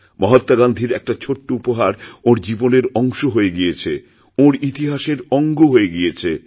মহাত্মা গান্ধীর একটাছোট্ট উপহার ওঁর জীবনের অংশ হয়ে গিয়েছে ওঁর ইতিহাসের অঙ্গ হয়ে গিয়েছে